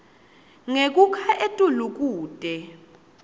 ngekukha etulu kute